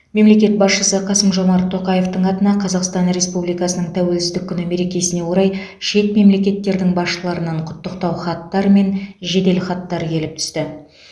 мемлекет басшысы қасым жомарт тоқаевтың атына қазақстан республикасының тәуелсіздік күні мерекесіне орай шет мемлекеттердің басшыларынан құттықтау хаттар мен жеделхаттар келіп түсті